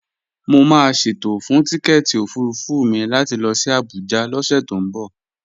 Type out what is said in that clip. Mo máa ṣètò fún tíkẹ́èti òfurufú mi láti lọ sí Abuja lọ́sẹ̀ tó ń bọ̀